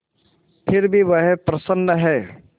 फिर भी वह प्रसन्न है